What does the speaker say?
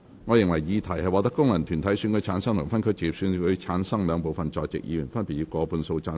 我認為議題獲得經由功能團體選舉產生及分區直接選舉產生的兩部分在席議員，分別以過半數贊成。